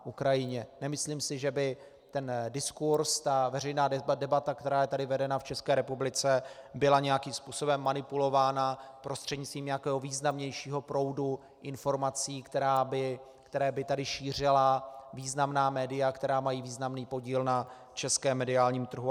Nemyslím si, že by ten diskurz, ta veřejná debata, která je tady vedena v České republice, byla nějakým způsobem manipulována prostřednictvím nějakého významnějšího proudu informací, které by tady šířila významná média, která mají významný podíl na českém mediálním trhu.